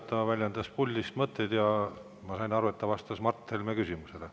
Ta väljendas puldist mõtteid ja ma sain aru, et ta vastas Mart Helme küsimusele.